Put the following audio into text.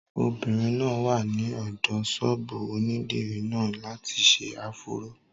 Obìnrin náà wà ní ọ̀dọ̀ ṣọ́ọ̀bù onídìrí náà láti ṣe áfúró